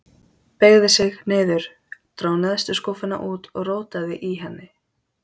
Beygði sig niður, dró neðstu skúffuna út og rótaði í henni.